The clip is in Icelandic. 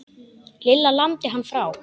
Lilla lamdi hann frá.